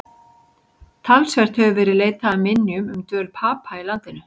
Talsvert hefur verið leitað að minjum um dvöl Papa í landinu.